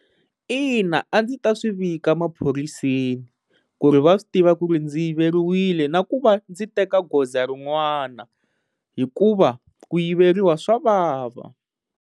Ina, a ndzi ta swivika emaphoriseni ku ri va swi tiva ku ri ndzi yiveriwile na ku va ndzi teka goza rin'wana hikuva ku yiveriwa swa vava.